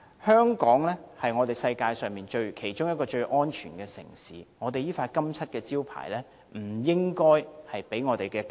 香港是世界上其中一個最安全的城市，這個金漆招牌不應因"假難民"而被打破。